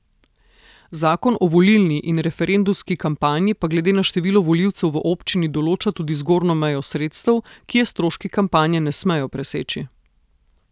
Zakon o volilni in referendumski kampanji pa glede na število volivcev v občini določa tudi zgornjo mejo sredstev, ki je stroški kampanje ne smejo preseči.